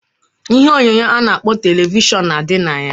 Ihe onyonyo a na-akpọ televishọn na adị na ya.